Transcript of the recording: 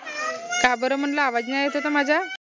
काबर म्हनलं आवाज नाई येत होता माझा?